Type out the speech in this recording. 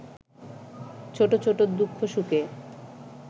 ছোটছোট দুঃখ সুখে